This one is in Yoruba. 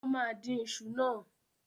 Ó máa dín iṣu náà.